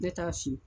Ne t'a si